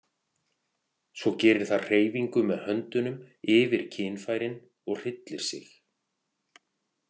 Og svo gerir það hreyfingu með höndunum yfir kynfærin og hryllir sig.